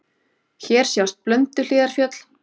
Hér sjást Blönduhlíðarfjöll.